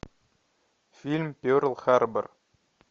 фильм перл харбор